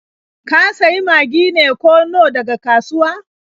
Ka sayi Magi ne ko Nor daga kasuwa?